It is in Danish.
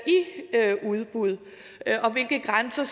udbud og hvilke grænser